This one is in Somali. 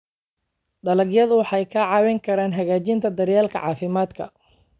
Dalagyadu waxay kaa caawin karaan hagaajinta daryeelka caafimaadka.